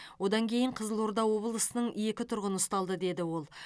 одан кейін қызылорда облысының екі тұрғыны ұсталды деді ол